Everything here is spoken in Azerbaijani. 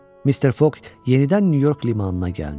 Mr. Foq yenidən Nyu-York limanına gəldi.